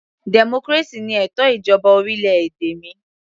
Democracy ni ètò ìjọba orílẹ̀-èdè mi